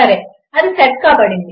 సరే అది సెట్ కాబడింది